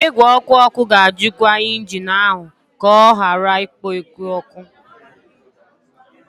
Igwe ọkụ ọkụ ga-ajụkwa injin ahụ ka ọ ghara ikpo oke ọkụ.